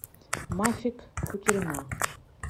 мафик кутерьма